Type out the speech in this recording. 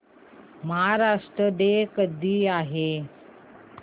Maharashtra day कधी आहे